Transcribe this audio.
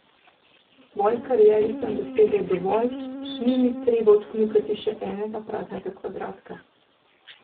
V svoji karieri sem dosegel dovolj, ni mi treba odkljukati še enega praznega kvadratka.